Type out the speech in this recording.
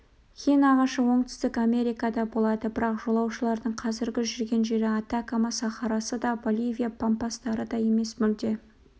хин ағашы оңтүстік америкада болады бірақ жолаушылардың қазіргі жүрген жері атакама сахарасы да боливия пампастары да емес мүлде